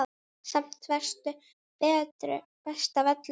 Samt varstu best af öllum.